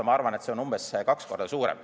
Ma arvan, et see summa on umbes kaks korda suurem.